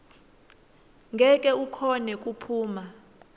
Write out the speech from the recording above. ngeke ukhone kuphuma